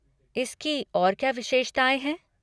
इसकी और क्या विशेषताएँ हैं?